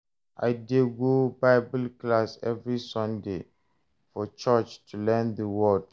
I dey go Bible class every Sunday for church to learn the word.